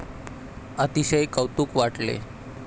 अतिशय कौतूक वाटले.